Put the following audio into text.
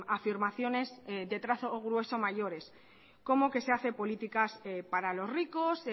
afirmaciones de trazo grueso mayores como que se hace políticas para los ricos